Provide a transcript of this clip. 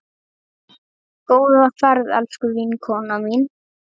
Góða ferð, elsku vinkona mín.